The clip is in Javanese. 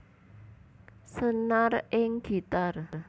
Senar ing gitar